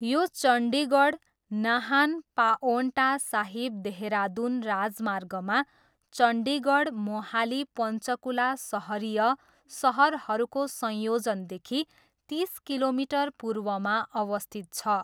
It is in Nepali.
यो चण्डीगढ नाहान पाओन्टा साहिब देहरादुन राजमार्गमा चण्डीगढ मोहाली पञ्चकुला सहरीय सहरहरूको संयोजनदेखि तिस किलोमिटर पूर्वमा अवस्थित छ।